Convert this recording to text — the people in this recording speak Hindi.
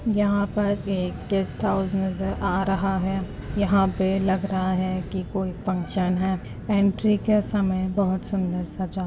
यहाँ पर एक गेस्ट हाउस नजर आ रहा है। यहां पे लग रहा है कोई फंक्शन है। ऐंट्री के समय बहोत सुंदर सजा है।